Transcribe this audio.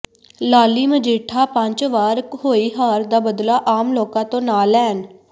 ਲਾਲੀ ਮਜੀਠਾ ਪੰਚ ਵਾਰ ਹੋਈ ਹਾਰ ਦਾ ਬਦਲਾ ਆਮ ਲੋਕਾਂ ਤੋਂ ਨਾ ਲੈਣ